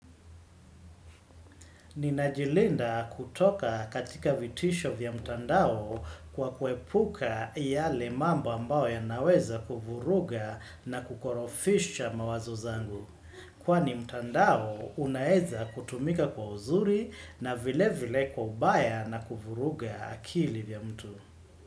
Ninajilinda kutoka katika vitisho vya mtandao kwa kuepuka yale mambo ambao ya naweza kuvuruga na kukorofisha mawazo zangu. Kwani mtandao unaeza kutumika kwa uzuri na vile vile kwa ubaya na kuvuruga akili vya mtu.